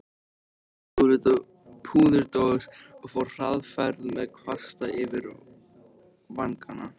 Opnaði púðurdós og fór hraðferð með kvasta yfir vangana.